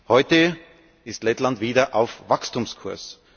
Heute ist Lettland wieder auf Wachstumskurs.